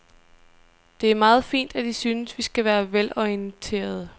Det er meget fint, at I synes, vi skal være velorienterede.